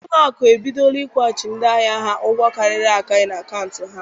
Ụlọ akụ ebidola ịkwụghachi ndị ahịa ha ụgwọ karịrị akarị n'akaụntụ ha.